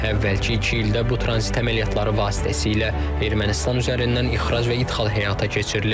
Əvvəlki iki ildə bu tranzit əməliyyatları vasitəsilə Ermənistan üzərindən ixrac və idxal həyata keçirilib.